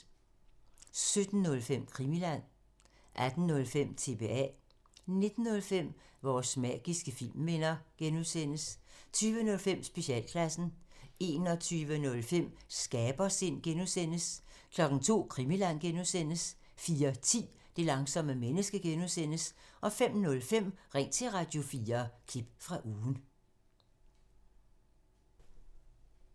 17:05: Krimiland 18:05: TBA 19:05: Vores magiske filmminder (G) 20:05: Specialklassen 21:05: Skabersind (G) 02:00: Krimiland (G) 04:10: Det langsomme menneske (G) 05:05: Ring til Radio4 – klip fra ugen